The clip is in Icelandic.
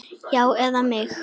Já, eða mig?